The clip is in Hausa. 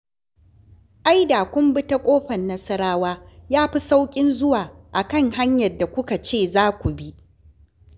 Ai da kun bi ta Ƙofar Nasarawa ya fi sauƙin zuwa a kan hanyar da kuka ce za ku bi